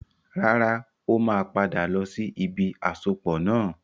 Rárá, ó máa padà lọ sí ibi àsopọ̀ náà.